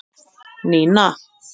Nína